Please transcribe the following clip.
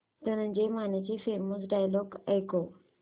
धनंजय मानेचे famous dialogue ऐकव